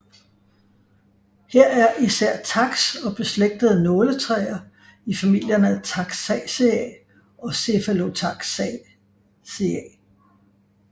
Her er især taks og beslægtede nåletræer i familierne Taxaceae og Cephalotaxaceae